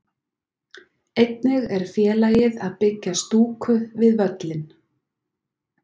Einnig er félagið að byggja stúku við völlinn.